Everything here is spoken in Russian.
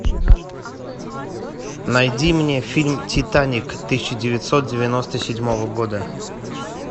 найди мне фильм титаник тысяча девятьсот девяносто седьмого года